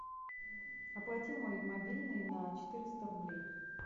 оплати мой мобильный на четыреста рублей